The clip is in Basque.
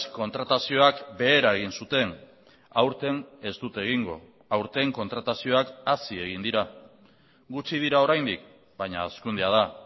kontratazioak behera egin zuten aurten ez dute egingo aurten kontratazioak hazi egin dira gutxi dira oraindik baina hazkundea da